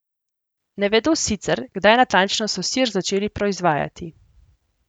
Ne vedo sicer, kdaj natančno so sir začeli proizvajati.